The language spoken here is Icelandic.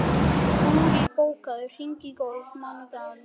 Búri, bókaðu hring í golf á mánudaginn.